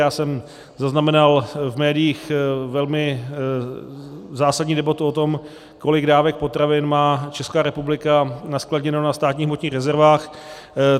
Já jsem zaznamenal v médiích velmi zásadní debatu o tom, kolik dávek potravin má Česká republika naskladněno na Státních hmotných rezervách.